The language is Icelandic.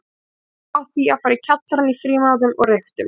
Við byrjuðum á því að fara í kjallarann í frímínútum og reyktum.